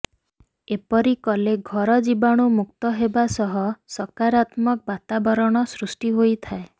ଏପରି କଲେ ଘର ଜୀବାଣୁ ମୁକ୍ତ ହେବା ସହ ସକାରାତ୍ମକ ବାତାବରଣ ସୃଷ୍ଟି ହୋଇଥାଏ